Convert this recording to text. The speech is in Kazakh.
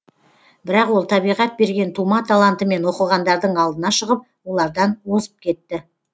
бірақ ол табиғат берген тума талантымен оқығандардың алдына шығып олардан озып кетті